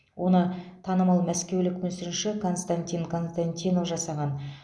оны танымал мәскеулік мүсінші константин константинов жасаған